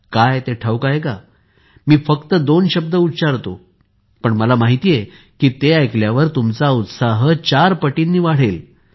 काय ते ठाऊक आहे का मी फक्त दोन शब्द उच्चारतो पण मला माहित आहे की ते ऐकल्यावर तुमचा उत्साह चार पटीने वाढेल